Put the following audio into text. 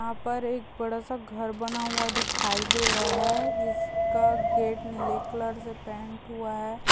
यहा पर एक बड़ा सा घर बना हुआ दिखाई दे रहा है जिसका गेट नीले कलर से पेंट हुआ है--